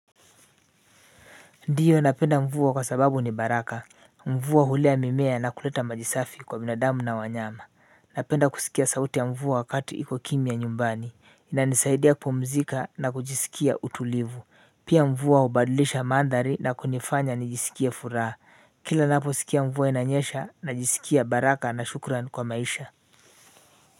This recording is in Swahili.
Ndiyo ninapenda mvua kwa sababu ni baraka, mvua hulea mimea na kuleta maji safi kwa binadamu na wanyama. Ninapenda kusikia sauti ya mvua wakatu iko kimya nyumbani, inanisaidia kupumzika na kujisikia utulivu. Pia mvua hubadilisha mandhari na kunifanya nijisikie furaha, kila ninaposikia mvua inanyesha najisikia baraka na shukrani kwa maisha.